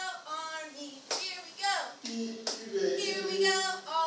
ii e be e le